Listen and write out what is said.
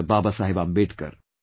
Baba Saheb Ambedkar